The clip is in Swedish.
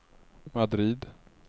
Madrid